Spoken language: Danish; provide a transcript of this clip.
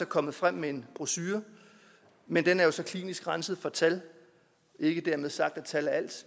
kommet frem med en brochure men den er jo så klinisk renset for tal ikke dermed sagt at tal er alt